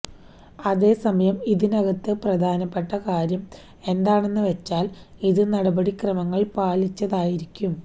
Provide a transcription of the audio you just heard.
അതേ സമയം ഇതിനകത്ത് പ്രധാനപ്പെട്ട കാര്യം എന്താണെന്ന് വച്ചാൽ ഇത് നടപടി ക്രമങ്ങൾ പാലിച്ചായിരിക്കണം